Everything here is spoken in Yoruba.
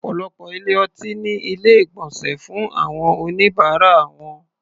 Ọ̀pọ̀lọpọ̀ ilé-ọtí ní Ilé-ìgbọ̀nsẹ̀ fún àwọn oníbàárà wọn